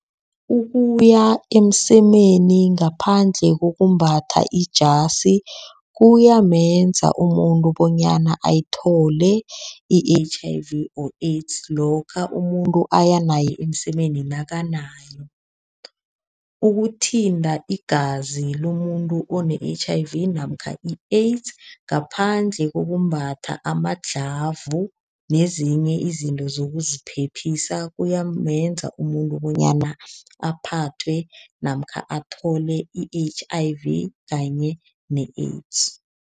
Ukuya emsemeni ngaphandle kokwembatha ijasi, kuyamenza umuntu bonyana ayithole i-H_I_V or AIDS lokha umuntu aya naye emsemeni nakanayo. Ukuthinta igazi lomuntu one-H_I_V namkha i-AIDS ngaphandle kokumbatha ama-glove, nezinye izinto zokuziphephisa kuyamenza umuntu bonyana aphathwe namkha athole i-H_I_V kanye ne-AIDS.